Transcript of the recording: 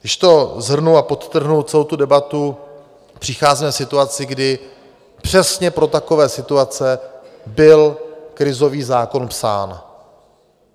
Když to shrnu a podtrhnu celou tu debatu, přicházíme v situaci, kdy přesně pro takové situace byl krizový zákon psán.